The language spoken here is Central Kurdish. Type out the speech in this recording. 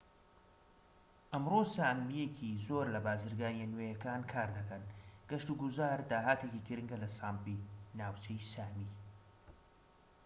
ئەمڕۆ سامیەکی زۆر لە بازرگانیە نوێکان کار دەکەن گەشت و گوزار داهاتێکی گرنگە لە ساپمی ناوچەی سامی